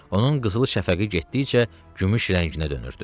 Onun qızıl şəfəqi getdikcə gümüş rənginə dönürdü.